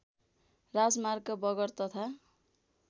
राजमार्ग बगर तथा